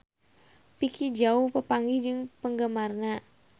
Vicki Zao papanggih jeung penggemarna